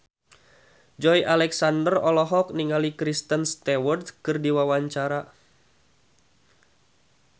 Joey Alexander olohok ningali Kristen Stewart keur diwawancara